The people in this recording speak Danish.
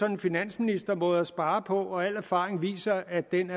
en finansministermåde at spare på og al erfaring viser at den